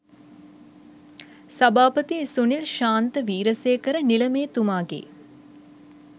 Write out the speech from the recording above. සභාපති සුනිල් ශාන්ත වීරසේකර නිලමේතුමාගේ